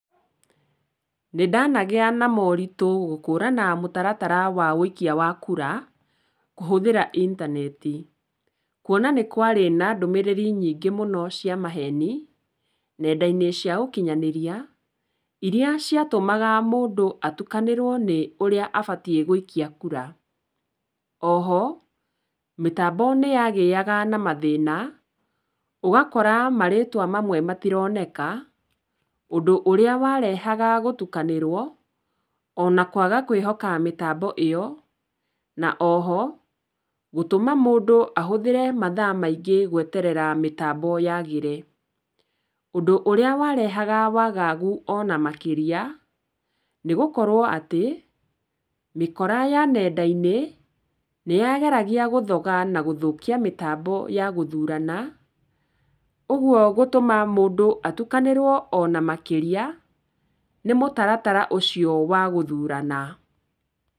Nĩndanagia na moritũ gũkũrana mũtaratara wa wũikia wa kura kũhũthĩra intaneti, kwona nĩkwarĩ na ndũmĩrĩri nyingĩ mũno cia maheni nenda-ini cia ũkinyanĩria, iria ciatumaga mũndũ atukanĩrwo nĩ ũrĩa abatiĩ gũikia kura. Oho, mĩtambo nĩyagĩaga na mathĩna ũgakora marĩtwa mamwe matironeka, ũndũ ũrĩa warehaga gũtukanĩrwo ona kwaga kwĩhoka mĩtambo ĩyo, na oho gũtũma mũndũ ahũthĩre mathaa maingĩ gweterera mĩtambo yagĩre. Ũndũ ũrĩa warehaga wagagu ona makĩria, nĩ gũkorwo atĩ mĩkora ya nenda-inĩ nĩyageragia gũthoga na gũthũkia mĩtambo ya gũthurana, ũgwo gũtũma mũndũ atukanĩrwo ona makĩria nĩ mũtaratara ũcio wa gũthurana.